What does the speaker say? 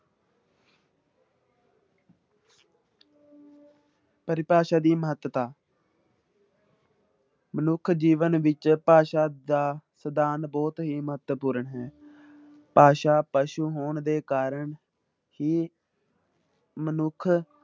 ਪਰਿਭਾਸ਼ਾ ਦੀ ਮਹੱਤਤਾ ਮਨੁੱਖੀ ਜੀਵਨ ਵਿੱਚ ਭਾਸ਼ਾ ਦਾ ਸਥਾਨ ਬਹੁਤ ਹੀ ਮਹੱਤਵਪੂਰਨ ਹੈ, ਭਾਸ਼ਾ ਪਸੂ ਹੋਣ ਦੇ ਕਾਰਨ ਹੀ ਮਨੁੱਖ